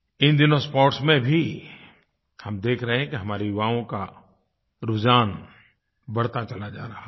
इन दिनों स्पोर्ट्स में भी हम देख रहे हैं कि हमारे युवाओं का रुझान बढ़ता चला जा रहा है